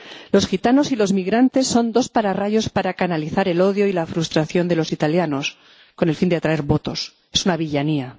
Los gitanos y los migrantes son dos pararrayos para canalizar el odio y la frustración de los italianos con el fin de atraer votos. Es una villanía.